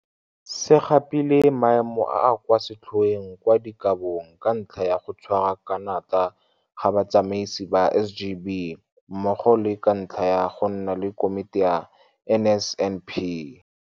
se gapile maemo a a kwa setlhoeng kwa dikabong ka ntlha ya go tshwara ka natla ga batsamaisi ba SGB mmogo le ka ntlha ya go nna le Komiti ya NSNP.